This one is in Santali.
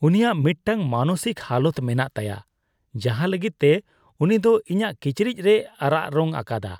ᱩᱱᱤᱭᱟᱜ ᱢᱤᱫᱴᱟᱝ ᱢᱟᱱᱚᱥᱤᱠ ᱦᱟᱞᱚᱛ ᱢᱮᱱᱟᱜ ᱛᱟᱭᱟ ᱡᱟᱦᱟᱸ ᱞᱟᱹᱜᱤᱫ ᱛᱮ ᱩᱱᱤ ᱫᱚ ᱤᱧᱟᱜ ᱠᱤᱪᱨᱤᱡ ᱨᱮᱭ ᱟᱨᱟᱜ ᱨᱚᱝ ᱟᱠᱟᱫᱟ ᱾